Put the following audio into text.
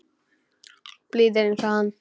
Blíðir einsog hann.